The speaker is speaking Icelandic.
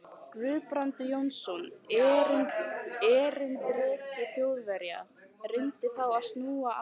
Guðbrandur Jónsson, erindreki Þjóðverja, reyndi þá að snúa á